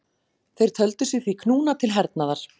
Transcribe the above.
Þeir töldu sig því knúna til hernaðar.